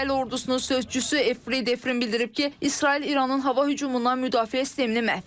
İsrail ordusunun sözçüsü Fribrin bildirib ki, İsrail İranın hava hücumundan müdafiə sistemini məhv edib.